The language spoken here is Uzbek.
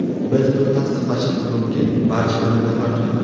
Biz buni tasdiqlashimiz mumkin barcha o‘rindiqlar to‘ldi.